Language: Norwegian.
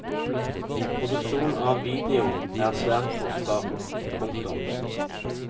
Produksjon av video er svært kostbart. punktum